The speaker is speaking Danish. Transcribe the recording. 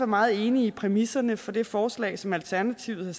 meget enige i præmisserne for det forslag som alternativet har